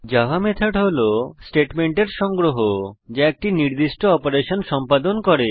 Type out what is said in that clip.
Java method হল স্টেটমেন্টের সংগ্রহ যা একটি নির্দিষ্ট অপারেশন সম্পাদন করে